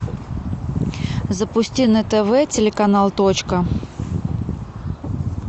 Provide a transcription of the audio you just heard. запусти на тв телеканал точка